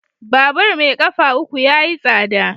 Babur mai kafa uku yayi tsada.